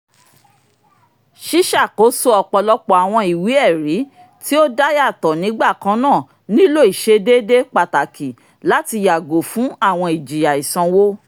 ṣiṣakoso ọpọlọpọ awọn iwe-ẹri ti o dayato nigbakanna nilo iṣedede pataki láti yago fun àwọn ijiya isanwo